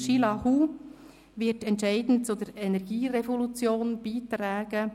Xile Hu wird entscheidend zur Energierevolution beitragen.